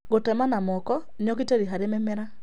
Gũtema na moko nĩ ũgitĩri harĩ mĩmera